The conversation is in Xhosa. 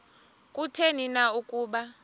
kutheni na ukuba